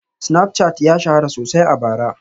Snapchat ya shahara sosai a bara